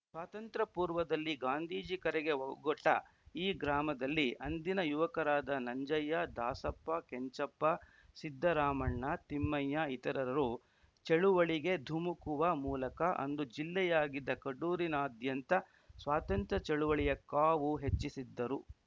ಸ್ವಾತಂತ್ರ್ಯ ಪೂರ್ವದಲ್ಲಿ ಗಾಂಧೀಜಿ ಕರೆಗೆ ಒಗೊಟ್ಟಈ ಗ್ರಾಮದಲ್ಲಿ ಅಂದಿನ ಯುವಕರಾದ ನಂಜಯ್ಯ ದಾಸಪ್ಪ ಕೆಂಚಪ್ಪ ಸಿದ್ದರಾಮಣ್ಣ ತಿಮ್ಮಯ್ಯ ಇತರರು ಚಳವಳಿಗೆ ಧುಮುಕುವ ಮೂಲಕ ಅಂದು ಜಿಲ್ಲೆಯಾಗಿದ್ದ ಕಡೂರಿನಾದ್ಯಂತ ಸ್ವಾತಂತ್ರ್ಯ ಚಳವಳಿಯ ಕಾವು ಹೆಚ್ಚಿಸಿದ್ದರು